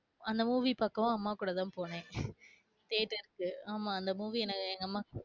அந்த movie பாக்கவும் அம்மா கூடத்தான் போனேன் theater க்கு ஆமாஅந்த movie எங்க அம்மா,